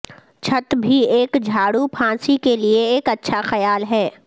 چھت بھی ایک جھاڑو پھانسی کے لئے ایک اچھا خیال ہے